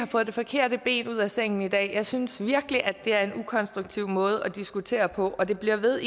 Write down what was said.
fået det forkerte ben ud af sengen i dag jeg synes virkelig at det er en ukonstruktiv måde at diskutere på og det bliver ved